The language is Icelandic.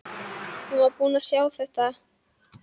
Hún var búin að sjá þetta!